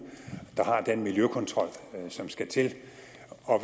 der har den miljøkontrol som skal til